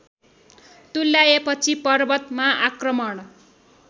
तुल्याएपछि पर्वतमा आक्रमण